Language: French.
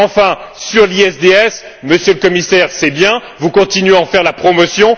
Enfin, sur l'ISDS, Monsieur le Commissaire, c'est bien, vous continuez à en faire la promotion.